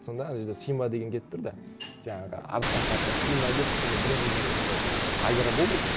сонда ана жерде симба деген келіп тұрды жаңағы арыстан патшасы симба деп сондай бұрын өзімде сондай айдар болды